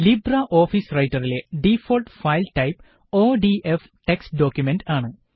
Libre office റൈറ്ററിലെ default file type ODF text document ആണ്